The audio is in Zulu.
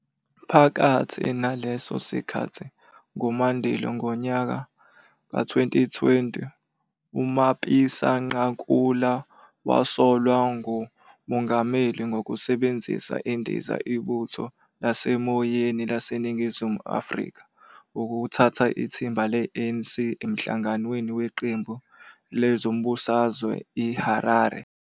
Phakathi naleso sikhathi, ngo-Mandulo ngonyaka wezi-2020, uMapisa-Nqakula wasolwa nguMongameli ngokusebenzisa indiza Ibutho Lasemoyeni LaseNingizimu Afrika ukuthutha ithimba le-ANC emhlanganweni weqembu lezombusazwe I-Harare.